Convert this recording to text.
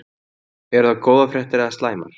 Eru það góðar fréttir eða slæmar?